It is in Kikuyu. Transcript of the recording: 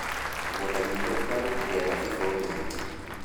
Mũgũnda witũ ũrarutire thabibu nyingĩ